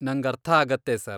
ನಂಗರ್ಥಾಗತ್ತೆ sir.